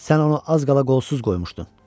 Sən onu az qala qolsuz qoymuşdun.